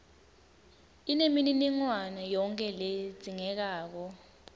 inemininingwane yonkhe ledzingekako